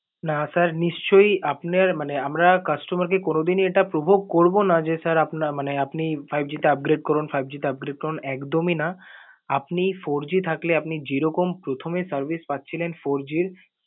না sir নিশ্চয়ই আপনার~ মানে আমরা customer কে কোনো দিনই এটা provoke করবো না যে sir, আপনার মানে আপনি five G টা upgrade করুন, five G টা upgrade করুন একদম এই না। আপনি four G থাকলে আপনি যেরকম প্রথমে service পাচ্ছিলেন four G র